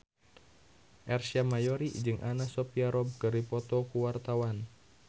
Ersa Mayori jeung Anna Sophia Robb keur dipoto ku wartawan